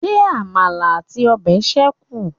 Ṣé àmàlà àti ọbẹ̀ ṣékùn?